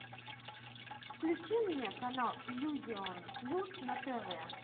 включи мне канал иллюзион плюс на тв